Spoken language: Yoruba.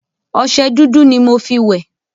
ọṣẹ dúdú ni mo fí wẹ̀